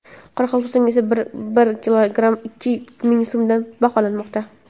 Qoraqalpog‘istonda esa bir kilogrammi ikki ming so‘mga baholanmoqda.